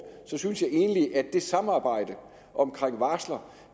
synes jeg egentlig at det samarbejde om varsler